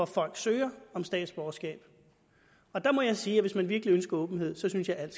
folk søger om statsborgerskab der må jeg sige at hvis man virkelig ønsker åbenhed synes jeg at